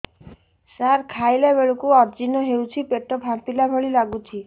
ସାର ଖାଇଲା ବେଳକୁ ଅଜିର୍ଣ ହେଉଛି ପେଟ ଫାମ୍ପିଲା ଭଳି ଲଗୁଛି